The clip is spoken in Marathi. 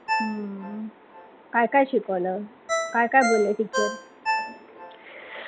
हम्म काय काय शिकवलं, काय काय बोलल्या teacher